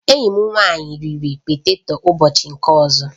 Enyi m nwanyị riri poteto ụbọchị nke ọzọ